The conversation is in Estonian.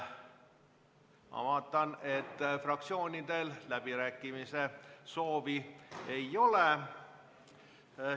Ma vaatan, et fraktsioonidel läbirääkimise soove ei ole.